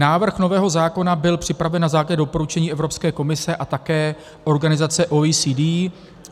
Návrh nového zákona byl připraven na základě doporučení Evropské komise a také organizace OECD.